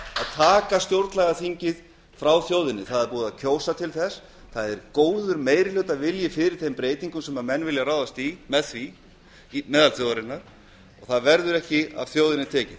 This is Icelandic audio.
taka stjórnlagaþingið frá þjóðinni það er búið að kjósa til þess það er góður meirihlutavilji fyrir þeim breytingum sem menn vilja ráðast í meðal þjóðarinnar það verður ekki af þjóðinni tekið